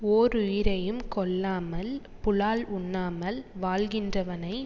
ஓருயிரையும் கொல்லாமல் புலால் உண்ணாமல் வாழ்கின்றவனை